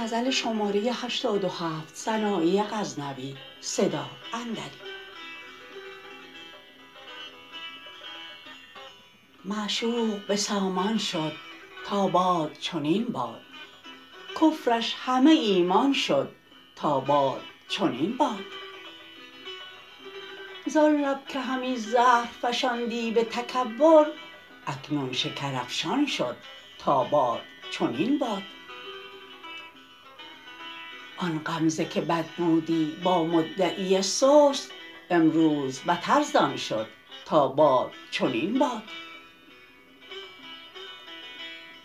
معشوق به سامان شد تا باد چنین باد کفرش همه ایمان شد تا باد چنین باد زان لب که همی زهر فشاندی به تکبر اکنون شکر افشان شد تا باد چنین باد آن غمزه که بد بودی با مدعی سست امروز بتر زان شد تا باد چنین باد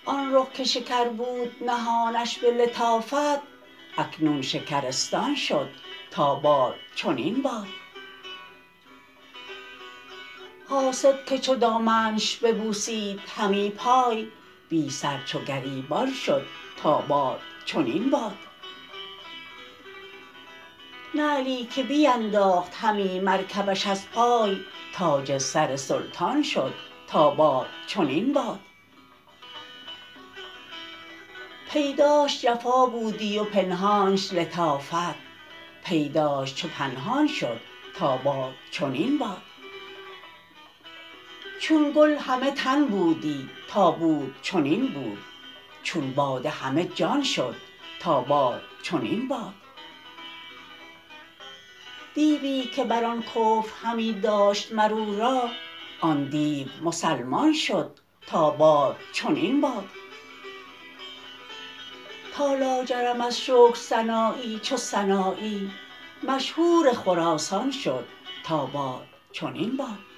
آن رخ که شکر بود نهانش به لطافت اکنون شکرستان شد تا باد چنین باد حاسد که چو دامنش ببوسید همی پای بی سر چو گریبان شد تا باد چنین باد نعلی که بینداخت همی مرکبش از پای تاج سر سلطان شد تا باد چنین باد پیداش جفا بودی و پنهانش لطافت پیداش چو پنهان شد تا باد چنین باد چون گل همه تن بودی تا بود چنین بود چون باده همه جان شد تا باد چنین باد دیوی که بر آن کفر همی داشت مر او را آن دیو مسلمان شد تا باد چنین باد تا لاجرم از شکر سنایی چو سنایی مشهور خراسان شد تا باد چنین باد